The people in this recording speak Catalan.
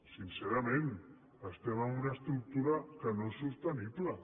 sincerament estem amb una estructura que no és sostenible